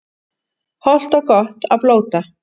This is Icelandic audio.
Hollt og gott að blóta